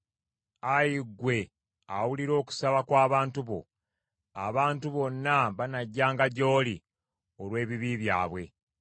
Ayi ggwe awulira okusaba kw’abantu bo, abantu bonna banajjanga gy’oli olw’ebibi byabwe.